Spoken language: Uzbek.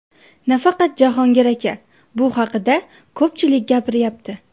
Nafaqat Jahongir aka, bu haqda ko‘pchilik gapiryapti.